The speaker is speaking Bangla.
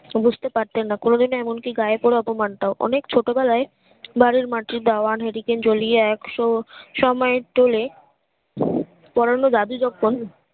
বুঝতে পারতেন না কোনোদিন ও এমন কি গায়ে পরে অপমানটাও অনেক ছোট বেলায় বাড়ির মাঠে ডায়ান হারিকেন জলীয় একশো সময়ের তোলে পোড়ানো যাবি কখন